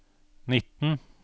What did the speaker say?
nitten